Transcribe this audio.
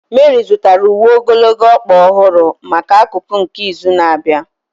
Meri zụtara uwe ogologo ọkpa ọhụrụ maka akụkụ nke izu na-abịa.